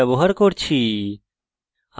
gedit text editor ব্যবহার করছি